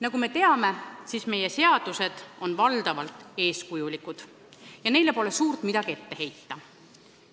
Nagu me teame, meie seadused on valdavalt eeskujulikud ja neile pole suurt midagi ette heita.